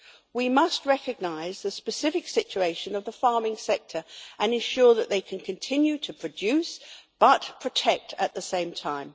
We must recognise the specific situation of the farming sector and ensure that they can continue to produce but protect at the same time.